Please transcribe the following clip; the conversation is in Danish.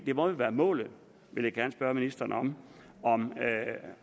det må jo være målet jeg vil gerne spørge ministeren om